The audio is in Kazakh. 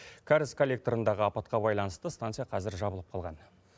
кәріз коллекторындағы апатқа байланысты станция қазір жабылып қалған